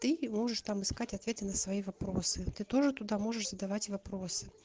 ты можешь там искать ответы на свои вопросы ты тоже туда можешь задавать вопросы